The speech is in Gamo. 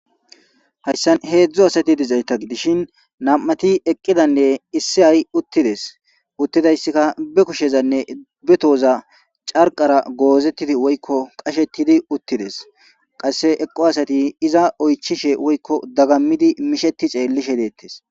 Hayssan hedzu asati dizayta gidishin nam'ati eqqidanne issay uttides uttidayssika be kushezanne be tohoza carqara goozetidi woyko qashetidi uttides qasse eqqo asati iza oychishe woyko daggami mishetishe xeelishe de'etes.